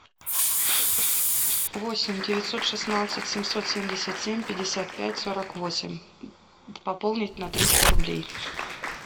восемь девятьсот шестнадцать семьсот семьдесят семь пятьдесят пять сорок восемь пополнить на триста рублей